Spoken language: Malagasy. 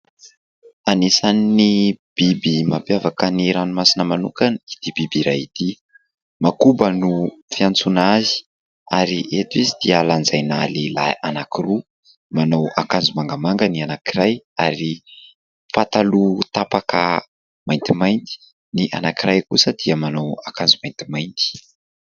Anisan'ny biby mampiavaka ny ranomasina manokana ity biby iray ity. Makoba no fiantsoana azy ary eto izy dia lanjaina lehilahy anankiroa manao akanjo mangamanga ny anankiray ary pataloha tapaka maintimainty. Ny anankiray kosa dia manao akanjo maintimainty.